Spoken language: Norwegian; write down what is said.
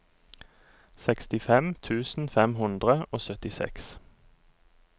sekstifem tusen fem hundre og syttiseks